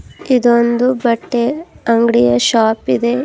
ಇದೊಂದು ಬಟ್ಟೆ ಅಂಗ್ಡಿಯ ಶಾಪ್ ಇದೆ.